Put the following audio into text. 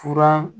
Fura